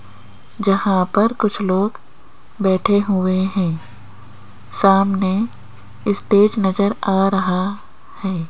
जहां पर कुछ लोग बैठे हुए हैं सामने इस्टेज नजर आ रहा है।